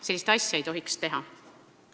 Sellist asja ei tohiks teha.